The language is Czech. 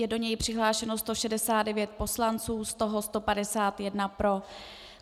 Je do něj přihlášeno 169 poslanců, z toho 151 pro .